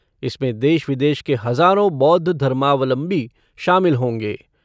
इसमें देश विदेश के हजारों बौद्ध धर्मावलंबी शामिल होंगे।